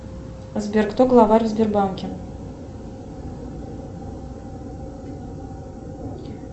сбер кто глава в сбербанке